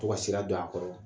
Tɔ ka sira dɔ a kɔrɔ